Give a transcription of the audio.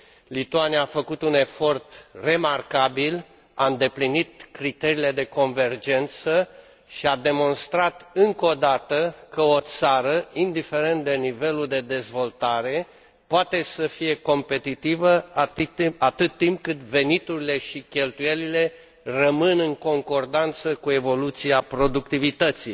Lituania a făcut un efort remarcabil, a îndeplinit criteriile de convergență și a demonstrat încă o dată că o țară, indiferent de nivelul de dezvoltare, poate să fie competitivă atât timp cât veniturile și cheltuielile rămân în concordanță cu evoluția productivității.